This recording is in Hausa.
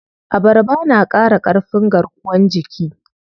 Abarba na ƙara ƙarfin garkuwan jiki.